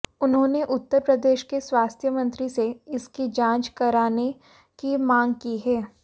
उन्होंने उत्तर प्रदेश के स्वास्थ्य मंत्री से इसकी जांच कराने की मांग की है